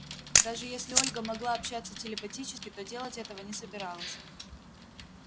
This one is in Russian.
даже если ольга могла общаться телепатически то делать этого не собиралась